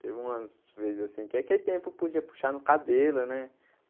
Teve umas vezes assim que aquele tempo podia puxar no cabelo, né?